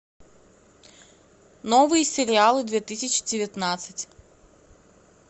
новые сериалы две тысячи девятнадцать